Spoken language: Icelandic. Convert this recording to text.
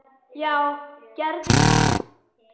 BÓNDI: Já, gerið það.